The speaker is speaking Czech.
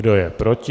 Kdo je proti?